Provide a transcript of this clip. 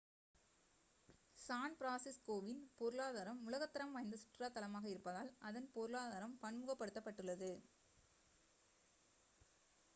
San பிரான்சிஸ்கோவின் பொருளாதாரம் உலகத் தரம் வாய்ந்த சுற்றுலாத் தளமாக இருப்பதால் அதன் பொருளாதாரம் பன்முகப்படுத்தப்பட்டுள்ளது